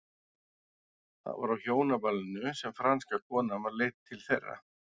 Það var á hjónaballinu sem franska konan var leidd til þeirra.